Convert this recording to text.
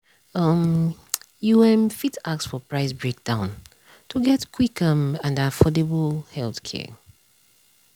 um you um fit ask for price breakdown to get quick um and affordable healthcare.